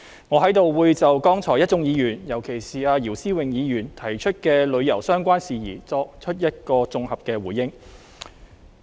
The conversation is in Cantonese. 我在這裏會就剛才一眾議員，尤其是姚思榮議員提出的旅遊相關事宜，作綜合回應。